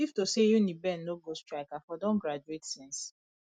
if to say uniben no go strike i for don graduate since